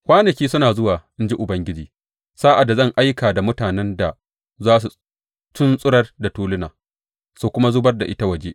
Kwanaki suna zuwa, in ji Ubangiji, sa’ad da zan aika da mutanen da za su tuntsurar da tuluna, su kuma zubar da ita waje.